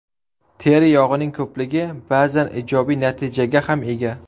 Teri yog‘ining ko‘pligi ba’zan ijobiy natijaga ham ega.